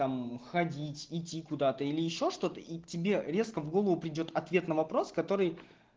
там ходить идти куда-то или ещё что-то и тебе резко в голову придёт ответ на вопрос который